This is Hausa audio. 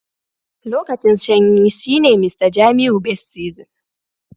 Lokacin sanyi shine Mr jamiu best season.